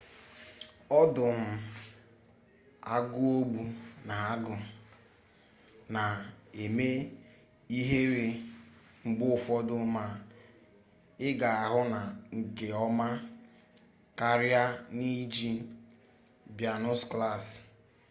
ọdụm agụogbu na agụ na-eme ihere mgbe ụfọdụ ma ị ga-ahụ na nke ọma karịa n'iji baịnokụlaasị